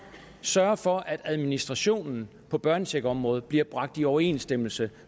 sørge for at administrationen på børnecheckområdet bliver bragt i overensstemmelse